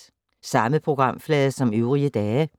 Samme programflade som øvrige dage